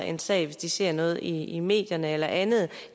en sag hvis de ser noget i i medierne eller andet